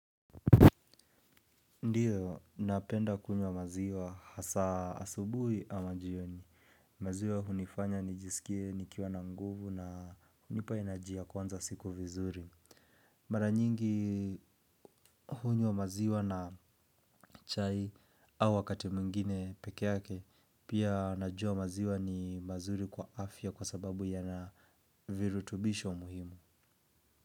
Ndiyo, napenda kunywa maziwa hasa asubuhi ama jioni. Maziwa hunifanya nijiskie nikiwa na nguvu na hunipa energy ya kwanza siku vizuri. Mara nyingi hunywa maziwa na chai au wakati mwingine pekee yake, pia najua maziwa ni mazuri kwa afya kwa sababu ya na virutubisho muhimu.